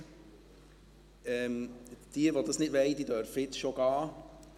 Diejenigen, die das nicht wollen, dürfen jetzt schon gehen.